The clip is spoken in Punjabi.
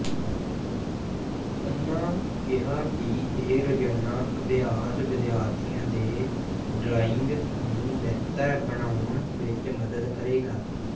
ਉਨ੍ਹਾਂ ਕਿਹਾ ਕਿ ਇਹ ਰੋਜ਼ਾਨਾ ਅਭਿਆਸ ਵਿਦਿਆਰਥੀਆਂ ਦੇ ਡਰਾਇੰਗ ਨੂੰ ਬੇਹਤਰ ਬਣਾਉਣ ਵਿਚ ਮਦਦ ਕਰੇਗਾ